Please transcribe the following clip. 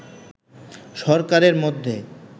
সরকারের মধ্যে